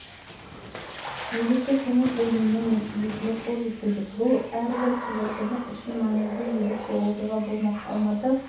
жылы бүкіләлемдік қысқы универсиада спорттық шарасы елімізде тұңғыш рет өткелі отыр оған мемлекет басшысының спортты дамытуға